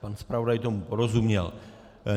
Pan zpravodaj tomu porozuměl.